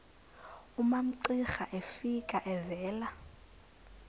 umamcira efika evela